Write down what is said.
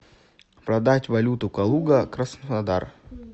продать валюту калуга краснодар